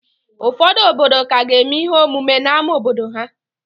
Ụfọdụ obodo ka ga-eme ihe ọmụma n'ámá obodo ha